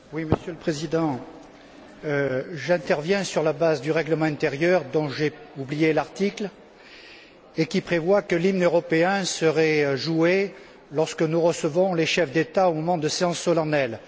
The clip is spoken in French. Monsieur le Président, j'interviens sur la base du règlement intérieur dont j'ai oublié l'article et qui prévoit que l'hymne européen serait joué lorsque nous recevons les chefs d'État ou lors de séances solennelles.